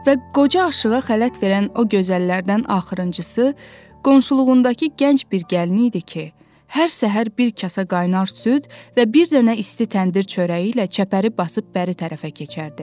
Və qoca aşığı xələt verən o gözəllərdən axırıncısı qonşuluğundakı gənc bir gəlin idi ki, hər səhər bir kasa qaynar süd və bir dənə isti təndir çörəyi ilə çəpəri basıb bəri tərəfə keçərdi.